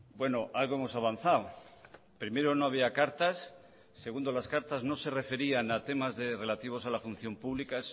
bueno algo hemos avanzado primero no había cartas segundo las cartas no se referían a temas de relativos a la función pública